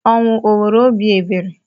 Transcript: Ọnwụ o nwere obi ebere?